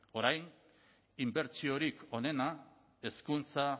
orain inbertsiorik onena hezkuntza